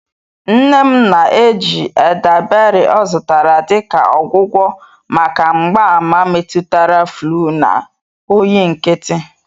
Nne m na-eji eldaberị ọ zụtara dị ka ọgwụgwọ maka mgbaàmà metụtara fluu na oyi nkịtị.